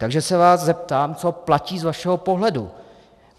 Takže se vás zeptám, co platí z vašeho pohledu.